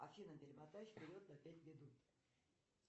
афина перемотай вперед на пять минут